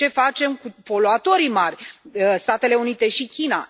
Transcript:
Ce facem cu poluatorii mari, Statele Unite și China?